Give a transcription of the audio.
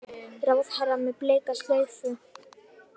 Ráðherra með bleika slaufu